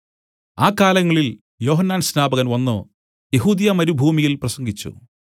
ആ കാലങ്ങളിൽ യോഹന്നാൻ സ്നാപകൻ വന്നു യെഹൂദ്യമരുഭൂമിയിൽ പ്രസംഗിച്ചു